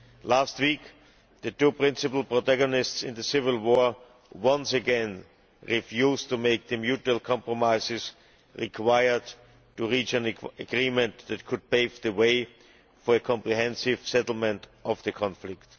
Last week, the two principle protagonists in the civil war once again refused to make the mutual compromises required to reach an agreement that could pave the way for a comprehensive settlement of the conflict.